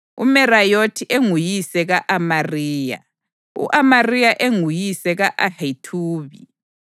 uMerayothi enguyise ka-Amariya, u-Amariya enguyise ka-Ahithubi,